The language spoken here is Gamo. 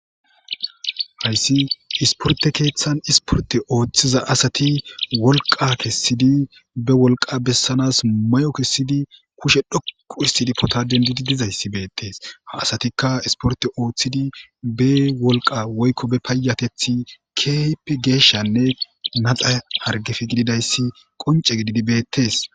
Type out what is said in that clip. hayssi isporte keeththan isporte ooththiza asati wolqa kessidi be wolqa bessanas mayo kessidi kushe dhoqu histidi pota dendidi dizayssi beettees ha asatikka isporte ooththidi be wolqa woykko be paayatethi kehipppe geeshshanne naxa hargefe gididayssi qonce gididi bettees